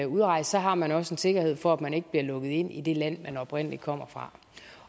udrejse har man også en sikkerhed for at man ikke bliver lukket ind i det land man oprindelig kommer fra